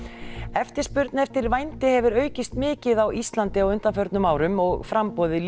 eftirspurn eftir vændi hefur aukist mikið á Íslandi á undanförnum árum og framboðið